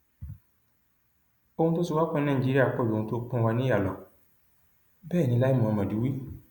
ohun tó so wá pọ ní nàìjíríà pọ ju ohun tó pín wa níyà lọ bẹẹ ni lai muhammed wí